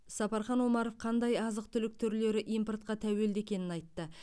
сапархан омаров қандай азық түлік түрлері импортқа тәуелді екенін айтты